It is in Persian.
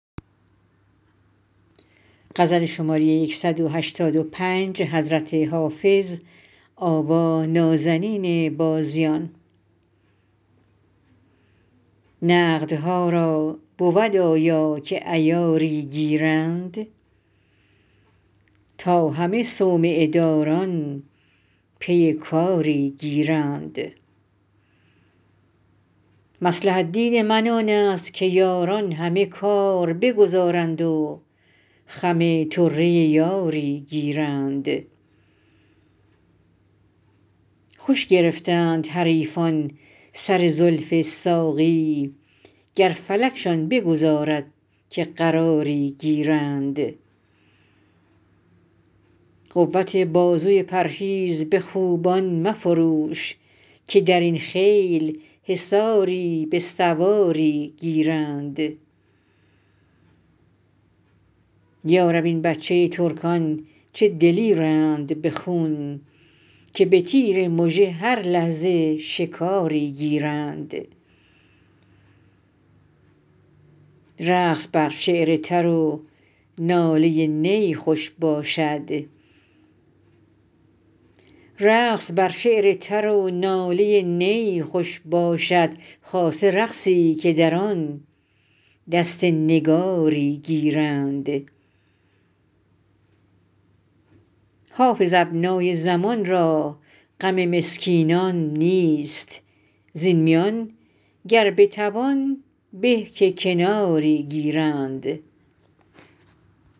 نقدها را بود آیا که عیاری گیرند تا همه صومعه داران پی کاری گیرند مصلحت دید من آن است که یاران همه کار بگذارند و خم طره یاری گیرند خوش گرفتند حریفان سر زلف ساقی گر فلکشان بگذارد که قراری گیرند قوت بازوی پرهیز به خوبان مفروش که در این خیل حصاری به سواری گیرند یا رب این بچه ترکان چه دلیرند به خون که به تیر مژه هر لحظه شکاری گیرند رقص بر شعر تر و ناله نی خوش باشد خاصه رقصی که در آن دست نگاری گیرند حافظ ابنای زمان را غم مسکینان نیست زین میان گر بتوان به که کناری گیرند